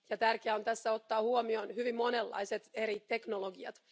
Tässä on tärkeää ottaa huomioon hyvin monenlaiset eri teknologiat.